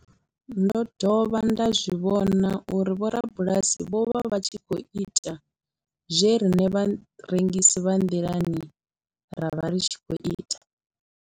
Ndo dovha nda zwi vhona uri vhorabulasi vho vha vha tshi khou ita zwe riṋe vharengisi vha nḓilani ra vha ri tshi khou ita.